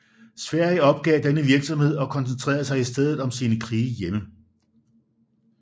Sverige opgav denne virksomhed og koncentrerede sig i stedet om sine krige hjemme